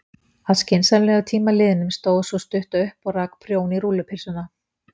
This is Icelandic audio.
Að skynsamlegum tíma liðnum stóð sú stutta upp og rak prjón í rúllupylsuna.